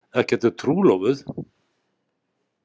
Ekki ertu trúlofuð?